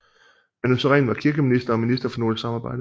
Manu Sareen var kirkeminister og minister for nordisk samarbejde